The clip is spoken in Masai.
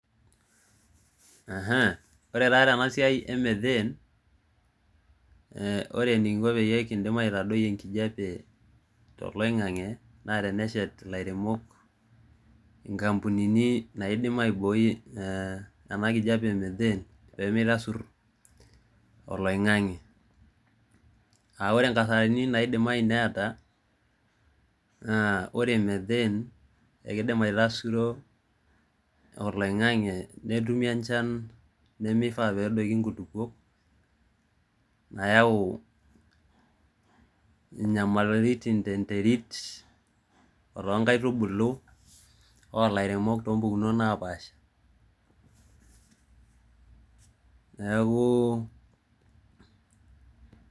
Ore taa tena siai e methene, ore enikinko pee kitum aitadoi enkijape toloing'ang'e naa teneshet ilairemok ikampunini naidim aibooi ene kijape e methene pee meitasur oloing'ang'e aa ore enkasarani naidimayu neeta naa ore methene keidim aitasuro oloing'ang'e netumi enchan naidim aitasuru nkulukuok nayau inyamalaritin te nterit otoonkaitubulu oo lairemok too mpukunot naapaasha neaku